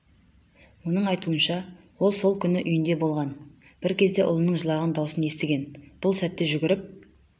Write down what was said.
оның айтуынша ол сол күні үйінде болған бір кезде ұлының жылаған даусын естіген бұл сәтте жүгіріп